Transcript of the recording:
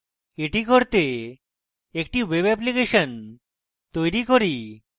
এটি করতে একটি web অ্যাপ্লিকেশন তৈরী করি